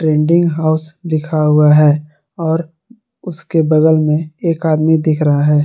House लिखा हुआ है और उसके बगल में एक आदमी दिख रहा है।